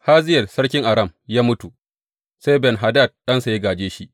Hazayel sarkin Aram ya mutu, sai Ben Hadad ɗansa ya gāje shi.